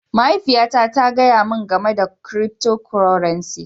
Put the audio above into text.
Mahaifiya na ta gaya min gamai da cryptocurrency.